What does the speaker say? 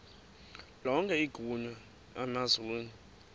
lonke igunya emazulwini